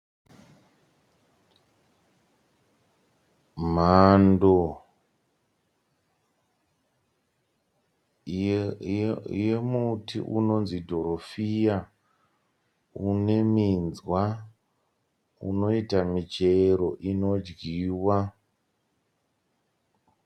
Mhando yemuti unonzi dhorofiya uneminzwa unoita michero inodyiwa.